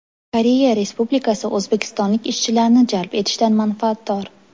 Koreya Respublikasi o‘zbekistonlik ishchilarni jalb etishdan manfaatdor.